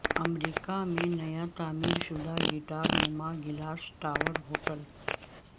امریکہ میں نیا تعمیر شدہ گٹار نما گلاس ٹاور ہوٹل